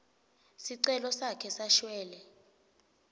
sicelo sakhe sashwele